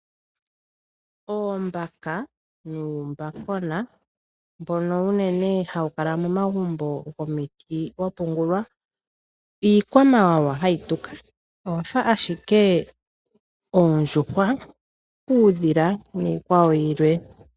Oombaka nuumbakona mbono unene hawukala momagumbo gomiti wapungulwa . iikwamawawa ha yituka yafa ashike oondjuhwa, uudhila nosho tuu.